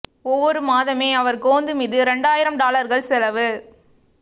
ஒவ்வொரு மாதமே அவர் கோந்து மீது இரண்டரை ஆயிரம் டாலர்கள் செலவு